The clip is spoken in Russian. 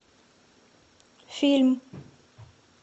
фильм